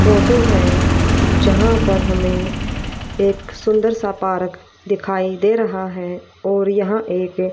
photo है जहां पर हमें एक सुंदर सा पारक दिखाई दे रहा है और यहां एक--